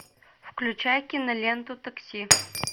включай киноленту такси